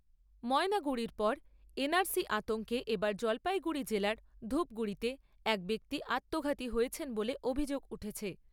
ময়নাগুড়ির পর আতঙ্কে এবার জলপাইগুড়ি জেলার ধুপগুড়িতে এক ব্যক্তি আত্মঘাতী হয়েছেন বলে অভিযোগ উঠেছে।